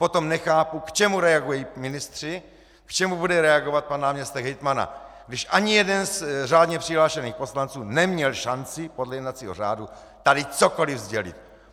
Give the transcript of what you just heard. Potom nechápu, k čemu reagují ministři, k čemu bude reagovat pan náměstek hejtmana, když ani jeden z řádně přihlášených poslanců neměl šanci podle jednacího řádu tady cokoliv sdělit.